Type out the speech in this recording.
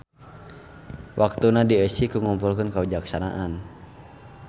Waktuna dieusi ku ngumpulkeun kawijaksanaan.